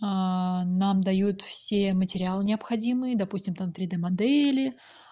нам дают все материалы необходимые допустим там три-д модели